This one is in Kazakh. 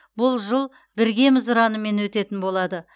бұл жыл біргеміз ұранымен өтетін болады